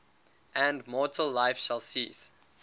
and mortal life shall cease